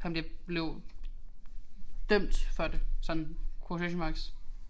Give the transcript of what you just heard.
han bliver han blev dømt for det sådan quotation marks